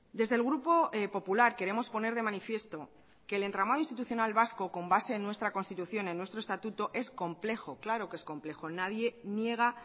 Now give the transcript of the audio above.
desde el grupo popular queremos poner de manifiesto que el entramado institucional vasco con base en nuestra constitución en nuestro estatuto es complejo claro que es complejo nadie niega